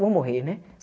Eu vou morrer, né?